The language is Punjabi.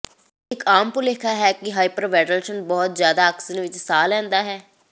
ਇਹ ਇੱਕ ਆਮ ਭੁਲੇਖਾ ਹੈ ਕਿ ਹਾਈਪਰਵੈਂਟਲਸ਼ਨ ਬਹੁਤ ਜ਼ਿਆਦਾ ਆਕਸੀਜਨ ਵਿੱਚ ਸਾਹ ਲੈਂਦਾ ਹੈ